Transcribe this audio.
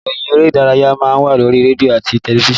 Ìròyìn eré ìdárayá má ń wà lórí rédíò àti tẹlifísàn